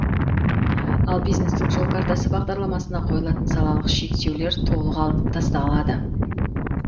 ал бизнестің жол картасы бағдарламасына қойылатын салалық шектеулер толық алынып тасталады